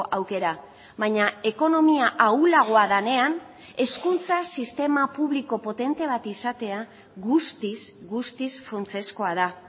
aukera baina ekonomia ahulagoa denean hezkuntza sistema publiko potente bat izatea guztiz guztiz funtsezkoa da